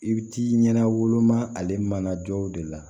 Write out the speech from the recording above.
I bɛ t'i ɲɛna woloma ale mana jɔ de la